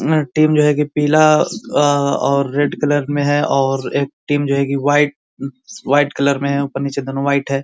Team जो है कि पीला और रेड कलर में है और एक टीम जो है वाइट अ वाइट कलर में है ऊपर नीचे दोनों वाइट है।